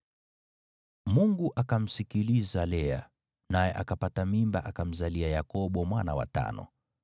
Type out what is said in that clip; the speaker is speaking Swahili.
Mungu akamsikiliza Lea, naye akapata mimba akamzalia Yakobo mwana wa tano.